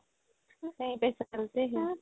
kahi পে চাল্তে hai